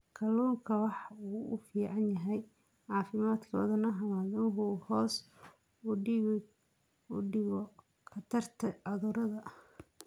Kalluunku waxa uu u fiican yahay caafimaadka wadnaha maadaama uu hoos u dhigo khatarta cudurrada wadnaha iyo xididdada dhiigga.